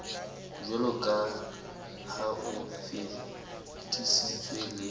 jwaloka ha o fetisitswe le